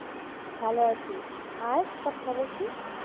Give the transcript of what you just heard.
ভালো আছি আর সব খবর কী?